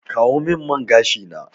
Kawo min man gashi na!